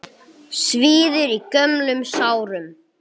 Svíður í gömlum sárum.